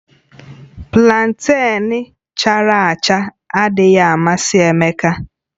Planten chara acha adịghị amasị Emeka